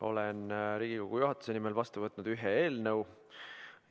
Olen Riigikogu juhatuse nimel vastu võtnud ühe eelnõu.